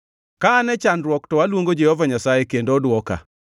Ka an e chandruok to aluongo Jehova Nyasaye, kendo odwoka,